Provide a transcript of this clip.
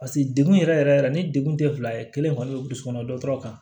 paseke dekun yɛrɛ yɛrɛ ni degun te fila ye kelen kɔni be burusi kɔnɔna dɔ tɔɔrɔ kan